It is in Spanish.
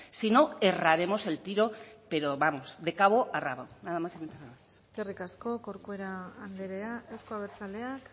si no erraremos el tiro pero vamos de cabo a rabo nada más y muchas gracias eskerrik asko corcuera anderea euzko abertzaleak